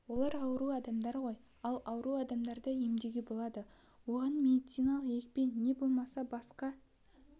олар ауру адамдар ғой ал ауру адамды емдеуге болады оған медициналық екпе не болмаса басқа